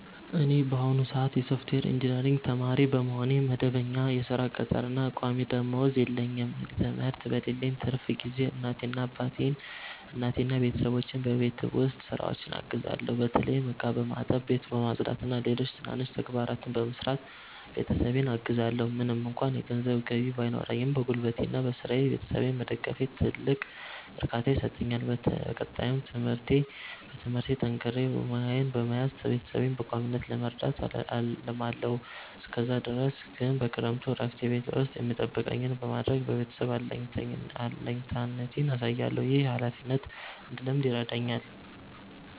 እኔ በአሁኑ ሰአት የሶፍትዌር ኢንጂነሪንግ ተማሪ በመሆኔ፣ መደበኛ የሥራ ቅጥርና ቋሚ ደመወዝ የለኝም። ትምህርት በሌለኝ ትርፍ ጊዜ እናቴንና ቤተሰቦቼን በቤት ውስጥ ሥራዎች አግዛለሁ። በተለይም ዕቃ በማጠብ፣ ቤት በማጽዳትና ሌሎች ትናንሽ ተግባራትን በመስራት ቤተሰቤን አግዛለዎ። ምንም እንኳ የገንዘብ ገቢ ባይኖረኝም፣ በጉልበቴና በሥራዬ ቤተሰቤን መደገፌ ትልቅ እርካታ ይሰጠኛል። በቀጣይም በትምህርቴ ጠንክሬ ሙያዬን በመያዝ ቤተሰቤን በቋሚነት ለመርዳት አልማለዎ። እስከዛ ድረስ ግን በክረምቱ እረፍቴ ቤት ውስጥ የሚጠበቅብኝን በማድረግ ለቤተሰቤ አለኝታነቴን አሳያለሁ። ይህ ኃላፊነትን እንድለምድ ይረዳኛል።